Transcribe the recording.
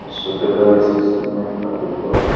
एक सौ पैतालीस ईस्वी में स्थापित हुआ है।